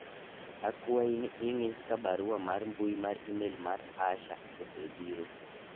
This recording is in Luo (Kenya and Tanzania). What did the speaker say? akwayi ni ing'i ka barua mar mbui mar email mar Asha osebiro